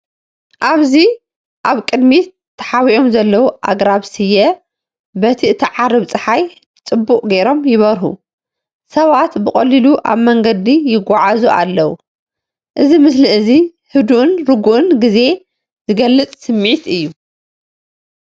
ኣብዚ ኣብ ቅድሚት ተሓቢኦም ዘለዉ ኣግራብ ስየ በቲ እትዓርብ ጸሓይ ጽቡቕ ጌሮም ይበርሁ። ሰባት ብቐሊሉ ኣብ መንገዲ ይጓዓዙ ኣለዉ። እዚ ምስሊ እዚ ህዱእን ርጉእን ግዜ ዝገልጽ ስምዒት እዩ።